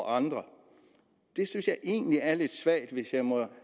andre det synes jeg egentlig er lidt svagt hvis jeg må